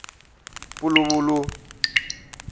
puluvulu